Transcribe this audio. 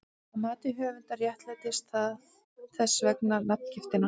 Að mati höfundar réttlætir það þess vegna nafngiftina.